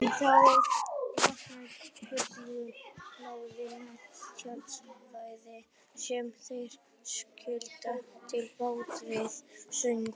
Um þá aka vörubílar hlaðnir trjáviði sem þeir skila til báta við ströndina.